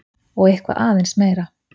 Og eitthvað aðeins meira!